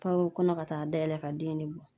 o kɔnɔ ka taa dayɛlɛ ka den de bɔ.